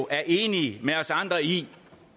er enige med os andre i